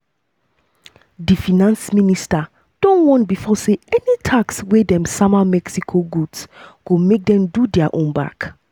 di finance minister don warn bifor say any tax wey wey dem sama mexico goods go make dem do dia own back.